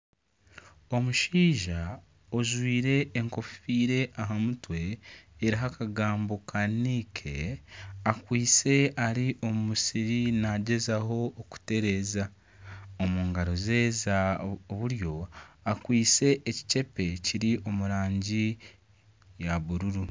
Omushaija ojwire enkofiira aha mutwe eriho akagambo ka Nike akwitse ari omu musiri nagyezaho kutereeza omu garo ze za buryo akwitse ekikyempe kiri omu rangi ya buruuru.